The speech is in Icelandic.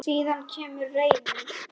Síðan kemur reiðin.